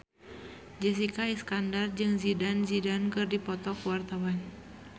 Jessica Iskandar jeung Zidane Zidane keur dipoto ku wartawan